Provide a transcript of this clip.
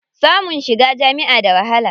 Samun shiga jami'a da wahala.